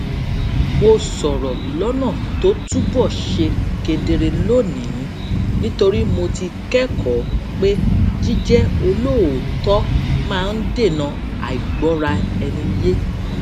mo sòrò lónà tó túbò ṣe kedere lónìí nítorí mo ti kékòó pé jíjé olóòótó máa ń dènà àìgbóraẹniyé